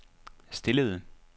stillede